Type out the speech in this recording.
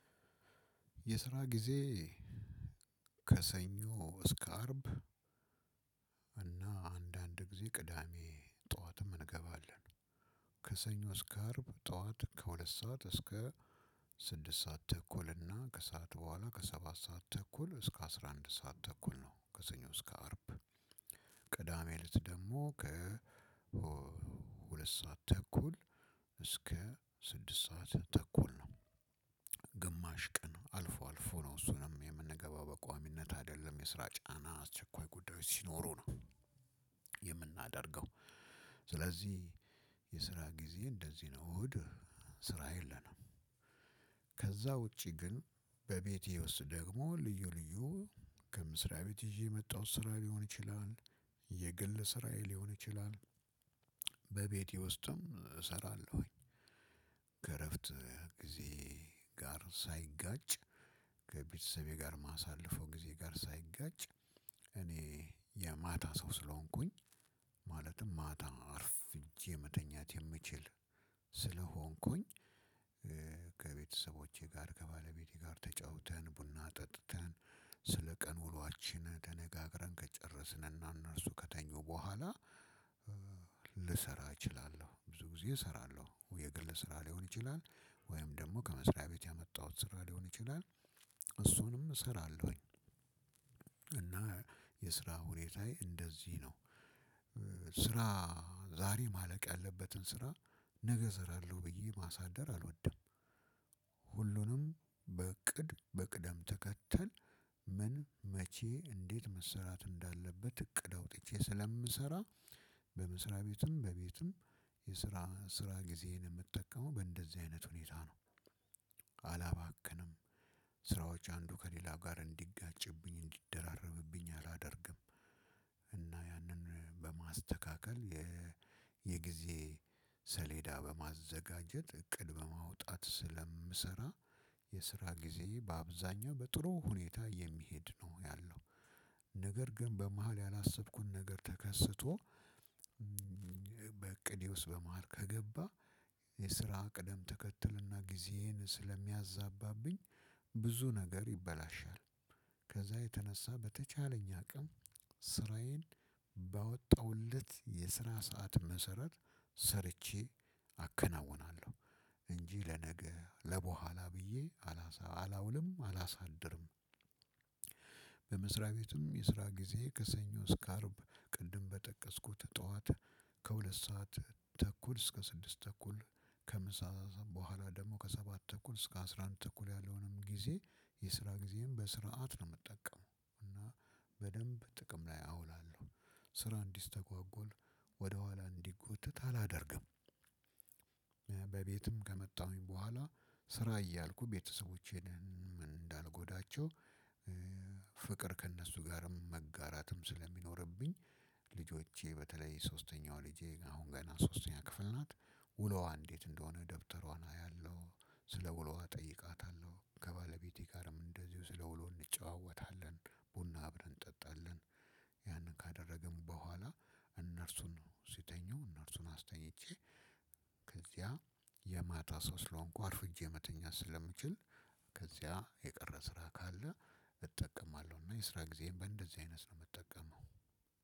የስራ ጊዜ ከሰኞ እስከ አርብ እና አንዳንድ ጊዜ ቅዳሜ ጠዋትም እንገባለን። ከሰኞ እስከ አርብ ጠዋት ከሁለት ሰዓት እስከ ስድስት ሰዓት ተኩል እና ከሰአት በኋላ ከሰባት ሰዓት ተኩል እስከ አስራ አንድ ሰዓት ተኩል ነው። ከሰኞ እስከ አርብ ቅዳሜ ለት ደግሞ ሁለት ሰዓት ተኩል እስከ ስድስት ሰዓት ተኩል ነው። ግማሽ ቀን አልፎ አልፎ ነው እሱንም የምንገባው በቋሚነት አይደለም የስራ ጫና አስቸኳይ ጉዳዮች ሲኖሩ ነው። የምናደርገው ስለዚህ የስራ ጊዜ እንደዚህ ነው። እሁድ ስራ የለንም። ከዛ ውጪ ግን በቤቴ ውስጥ ደግሞ ልዩ ልዩ ከምስሪያ ቤት ይዤ የመጣሁት ስራ ሊሆን ይችላል። የግል ስራዬ ሊሆን ይችላል። በቤቴ ውስጥም እሰራለሁኝ። ከእረፍት ጊዜየ ጋር ሳይጋጭ ከቤተሰቤ ጋር ማሳለፈው ጊዜ ጋር ሳይጋጭ እኔ የማታ ሰው ስለሆንኩኝ ማለትም ማታ አርፍ መተኛት የምችል ስለሆንኩኝ። ከቤተሰቦቼ ጋር ከባለቤቴ ጋር ተጫውተን ቡና ጠጥተን ስለ ቀን ውሏችን ተነጋግረን ከጨረስን እና እነርሱ ከተኙ በኋላ ልሰራ እችላለሁ ብዙ ጊዜ እሰራለሁ የግል ስራ ሊሆን ይችላል። ወይም ደግሞ ከመስሪያ ቤት ያመጣሁት ስራ ሊሆን ይችላል። እሱንም እሰራለሁኝ። እና የስራ ሁኔታዬ እንደዚህ ነው። ስራ ዛሬ ማለቅ ያለበትን ስራ ነገ እሰራለሁ ብዬ ማሳደር አልወደም። ሁሉንም በእቅድ በቅደም ተከተል ምን መቼ እንዴት መሰራት እንዳለበት እቅድ አውጥቼ ስለምሰራ። በምስራ ቤትም በቤትም የስራ ስራ ጊዜየን የምጠቀመው በእንደዚህ አይነት ሁኔታ ነው። አላባክንም ስራዎች አንዱ ከሌላ ጋር እንዲጋጭብኝ እንዲደራረብብኝ አላደርግም። እና ያንን በማስተካከል የጊዜ ሰሌዳ በማዘጋጀት እቅድ በማውጣት ስለምሰራ። የስራ ግዜየ ባብዛኛው በጥሩ ሁኔታ የሚሄድ ነው ያለው። ነገር ግን በመሃል ያላሰብኩት ነገር ተከስቶ በእቅዴ ውስጥ በመሃል ከገባ የስራ ቅደም ተከትልና ጊዜዬን ስለሚያዛባብኝ ብዙ ነገር ይበላሻል። ከዛ የተነሳ በተቻለኝ አቅም ስራዬን ባወጣሁት ልክ የስነ ሰዓት መሰረት ሰርቼ አከናውናለሁ እንጂ ለነገ ለበኋላ ብዬ አላውልም አላሳድርም። በመስሪያ ቤትም የስራ ጊዜ ከሰኞ እስከ አርብ ቅድም በጠቀስኩት ጠዋት ከሁለት ሰዓት ተኩል እስከ ስድስት ተኩል ከምሳ በኋላ ደግሞ ከሰባት ተኩል እስከ አስራ አንድ ተኩል ያለውንም ጊዜ የስራ ጊዜም በስርዓት ነው የምጠቀመው እና በደንብ ጥቅም ላይ አውላለሁ ስራ እንዲስተጓጎል ወደኋላ እንዲጎተት አላደርግም። በቤትም ከመጣሁኝ በኋላ ስራ እያልኩ ቤተሰቦቼን እንዳልጎዳቸው ፍቅር ከእነሱ ጋርም መጋራትም ስለሚኖርብኝ ልጆቼ በተለይ ሶስተኛው ልጄ አሁን ገና ሶስተኛ ክፍል ናት። ውሎዋ እንዴት እንደሆነ ደብተሯን አያለሁ ስለ ውሎዋ እጠይቃታለሁ ከባለቤቴ ጋርም እንደዚሁ ስለ ውሎ እንጨዋወታለን። ቡና አብረን እንጠጣለን። ያንን ካደረግን በኋላ እነርሱን ሲተኙ እነርሱን አስተኝቼ ከዚያ የማታ ሰው ስለሆንኩ አርፍጄ መተኛት ስለምችል ከዚያ የቀረ ስራ ካለ እጠቀማለሁ እና የስራ ጊዜም አይነት ነው የምጠቀመው።